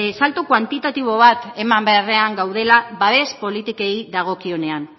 salto kuantitatibo bat eman beharrean gaudela babes politikei dagokionean